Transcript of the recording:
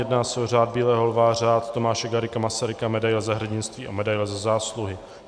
Jedná se o Řád bílého lva, Řád Tomáše Garrigua Masaryka, medaili Za hrdinství a medaili Za zásluhy.